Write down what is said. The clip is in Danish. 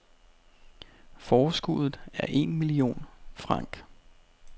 Forskuddet er en millione franc.